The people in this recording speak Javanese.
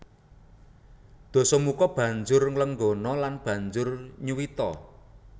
Dasamuka banjur nglenggana lan banjur nyuwita